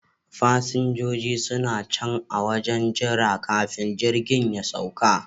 Fasinjojin suna can a wajen jira kafin jirgin ya sauka